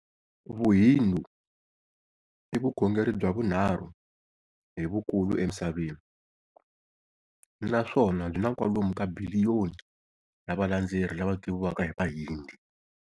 Vuhindu ivukhongeri bya vunharhu hi vukulu emisaveni, naswona byina kwalomu ka biliyoni ya valandzeri lava tiviwaka hi vahindi.